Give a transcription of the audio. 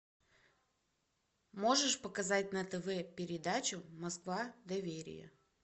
можешь показать на тв передачу москва доверие